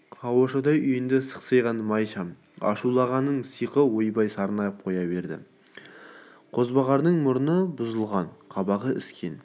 қауашадай үйінде сықсиған май шам ашуланғанының сиқы ойбайлап сарнап қоя берді қозбағардың мұрны бұзылған қабағы іскен